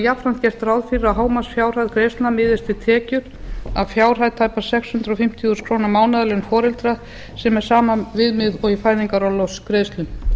jafnframt gert ráð fyrir því að hámarksfjárhæð greiðslna miðist við tekjur af fjárhæð tæpar sex hundruð fimmtíu þúsund mánaðarlaun foreldra sem er sama viðmið og í fæðingarorlofsgreiðslum